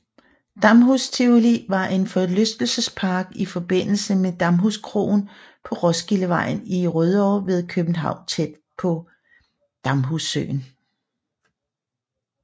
Damhus Tivoli var en forlystelsespark i forbindelse med Damhuskroen på Roskildevejen i Rødovre ved København tæt ved Damhussøen